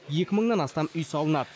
екі мыңнан астам үй салынады